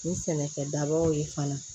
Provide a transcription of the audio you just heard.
Ni sɛnɛkɛ dabaw ye fana